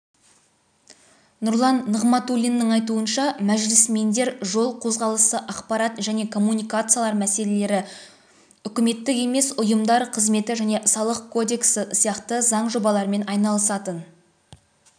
нұрлан нығматулиннің айтуынша мәжілісмендер жол қозғалысы ақпарат және коммуникациялар мәселелері үкіметтік емес ұйымдар қызметі және салық кодексі сияқты заң жобаларымен айналысатын